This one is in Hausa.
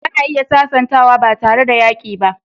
Ana iya sasantawa ba tare da yaƙi ba.